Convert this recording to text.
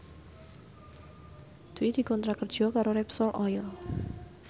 Dwi dikontrak kerja karo Repsol Oil